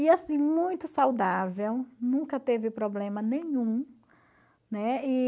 E assim, muito saudável, nunca teve problema nenhum, né? E...